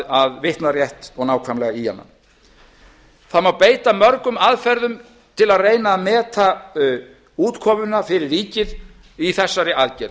að vitna rétt og nákvæmlega í hana það má beita mörgum aðferðum til að reyna að meta útkomuna fyrir ríkið í þessari aðgerð